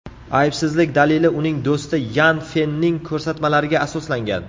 Aybsizlik dalili uning do‘sti Yan Fenning ko‘rsatmalariga asoslangan.